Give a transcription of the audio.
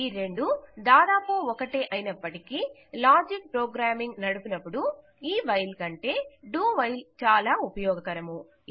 ఈ రెండూ దాదాపు ఒకటే అయినప్పటికీ లాజిక్ ప్రోగామింగ్ నడుపునపుడు ఈ వైల్ కంటే Do WHILEచాలా ఉపయోగకరము